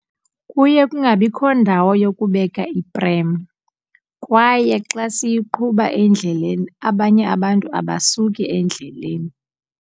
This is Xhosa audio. Kuye kungabikho ndawo yokubeka ipremu kwaye xa siyiqhuba endleleni abanye abantu abasuki endleleni.